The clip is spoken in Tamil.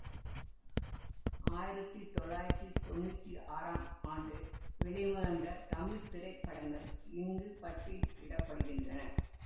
ஆயிரத்தி தொள்ளாயிரத்தி தொன்னூத்தி ஆறாம் ஆண்டு வெளிவந்த தமிழ் திரைப்படங்கள் இங்கு பட்டியலிட படுகின்றன